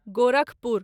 Gorakhpur